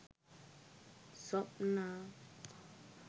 swapna